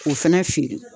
K'o fɛnɛ feere